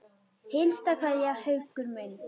HINSTA KVEÐJA Haukur minn.